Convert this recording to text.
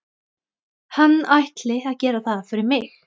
Hann ætli að gera það fyrir mig.